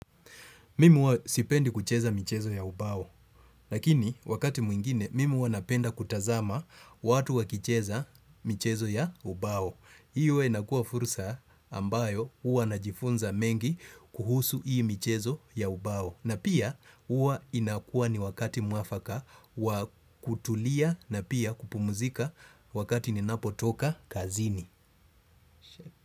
Mimi huwa sipendi kucheza michezo ya ubao. Lakini wakati mwingine, mimi huwa napenda kutazama watu wakicheza michezo ya ubao. Hiyo inakua fursa ambayo huwa najifunza mengi kuhusu hii michezo ya ubao. Na pia huwa inakua ni wakati mwafaka wa kutulia na pia kupumuzika wakati ninapotoka kazini.